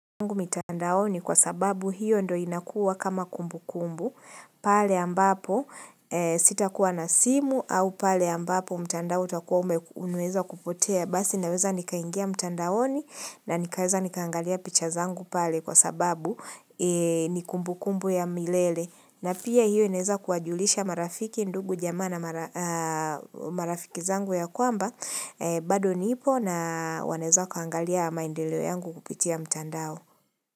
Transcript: Mitandaoni kwa sababu hiyo ndo inakuwa kama kumbu kumbu pale ambapo sitakuwa na simu au pale ambapo mtandao utakuwa umeweza kupotea basi naweza nikaingia mtandaoni na nikaweza nikaangalia picha zangu pale kwa sababu ni kumbu kumbu ya milele na pia hiyo inaweza kuwajulisha marafiki ndugu jamaa na marafiki zangu ya kwamba bado nipo na wanaeza wakaaangalia maendeleo yangu kupitia mtandao.